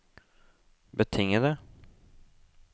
betingede